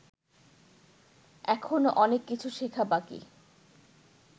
এখনও অনেক কিছু শেখা বাকি